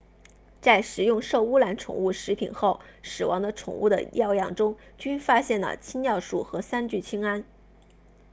在食用受污染宠物食品后死亡的宠物的尿样中均发现了氰尿酸和三聚氰胺